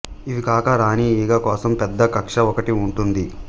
ఇవికాక రాణీ ఈగ కోసం పెద్ద కక్ష్య ఒకటి ఉంటుంది